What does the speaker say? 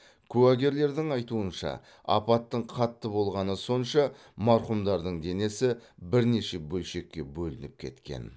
куәгерлердің айтуынша апаттың қатты болғаны сонша марқұмдардың денесі бірнеше бөлшекке бөлініп кеткен